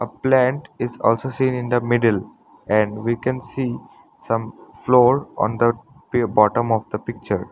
a plant is also seen in the middle and we can see some floor on the bottom of the picture.